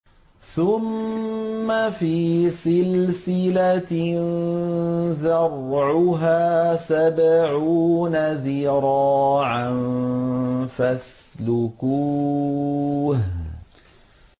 ثُمَّ فِي سِلْسِلَةٍ ذَرْعُهَا سَبْعُونَ ذِرَاعًا فَاسْلُكُوهُ